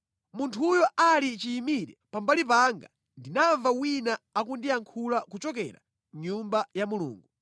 Munthuyo ali chiyimire pambali panga, ndinamva wina akundiyankhula kuchokera mʼNyumba ya Mulungu.